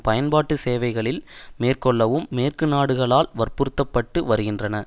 பயன்பாட்டு சேவைகளில் மேற்கொள்ளவும் மேற்கு நாடுகளால் வற்புறுத்தப்பட்டு வருகின்றன